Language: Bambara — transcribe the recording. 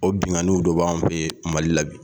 O binnkanni dɔ b'anw fɛ Mali la bi